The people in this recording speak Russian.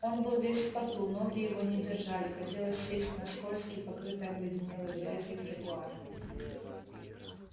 он был весь в поту ноги его не держали хотелось сесть на скользкий покрытый обледенелой грязью тротуар